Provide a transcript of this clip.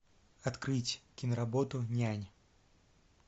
открыть киноработу нянь